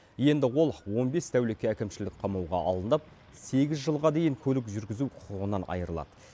енді ол он бес тәулікке әкімшілік қамауға алынып сегіз жылға дейін көлік жүргізу құқығынан айырылады